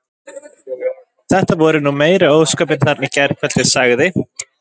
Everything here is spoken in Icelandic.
Þetta voru nú meiri ósköpin þarna í gærkvöldi sagði